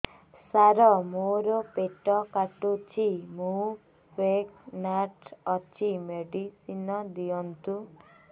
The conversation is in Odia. ସାର ମୋର ପେଟ କାଟୁଚି ମୁ ପ୍ରେଗନାଂଟ ଅଛି ମେଡିସିନ ଦିଅନ୍ତୁ